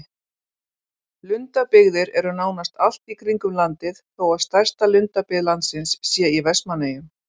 Lundabyggðir eru nánast allt í kringum landið þó stærsta lundabyggð landsins sé í Vestmannaeyjum.